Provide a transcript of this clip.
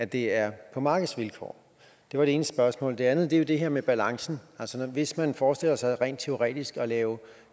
det er på markedsvilkår det var det ene spørgsmål det andet er det her med balancen hvis man forestiller sig rent teoretisk at lave